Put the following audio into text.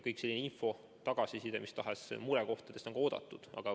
Igasugune tagasiside, info mis tahes murekohtadest on oodatud.